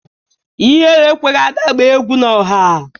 Ihere ekweghị Ada gbaa egwu n'ọha